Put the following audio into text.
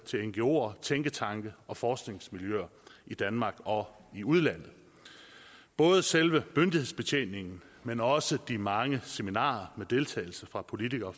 til ngoer tænketanke og forskningsmiljøer i danmark og i udlandet både selve myndighedsbetjeningen men også de mange seminarer med deltagelse fra politikere og